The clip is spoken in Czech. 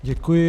Děkuji.